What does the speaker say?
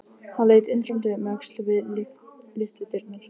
Hann leit undrandi um öxl við lyftudyrnar.